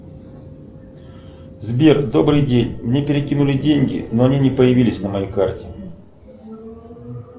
сбер добрый день мне перекинули деньги но они не появились на моей карте